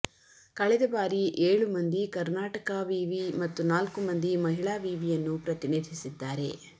ಕಳೆದ ಬಾರಿ ಏಳು ಮಂದಿ ಕರ್ನಾಟಕ ವಿವಿ ಮತ್ತು ನಾಲ್ಕು ಮಂದಿ ಮಹಿಳಾ ವಿವಿಯನ್ನು ಪ್ರತಿನಿಧಿಸಿದ್ದಾರೆ